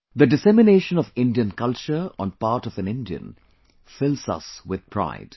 The dissemination of Indian culture on part of an Indian fills us with pride